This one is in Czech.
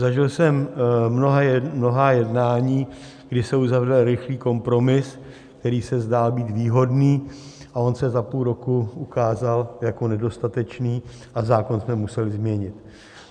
Zažil jsem mnohá jednání, kdy se uzavřel rychlý kompromis, který se zdál být výhodný, a on se za půl roku ukázal jako nedostatečný a zákon jsme museli změnit.